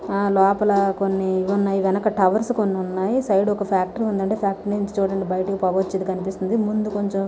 ఆహ్ లోపల కొన్ని ఇవున్నాయ్ గనక టవర్స్ కొన్నున్నాయ్. సైడ్ ఒక ఫ్యాక్టరీ ఉందండి. ఆ ఫ్యాక్టరీ నుంచి చూడండి బయటకి పొగ వచ్చేది కన్పిస్తుంది. ముందు కొంచం